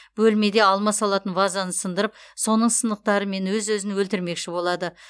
бөлмеде алма салатын вазаны сындырып соның сынықтарымен өз өзін өлтірмекші болады